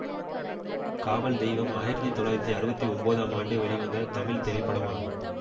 காவல் தெய்வம் ஆயிரத்தி தொள்ளாயிரத்தி அறுபத்தி ஒம்போதாம் ஆண்டு வெளிவந்த தமிழ் திரைப்படமாகும்